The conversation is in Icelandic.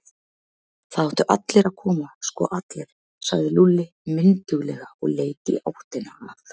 Það áttu allir að koma, sko allir, sagði Lúlli mynduglega og leit í áttina að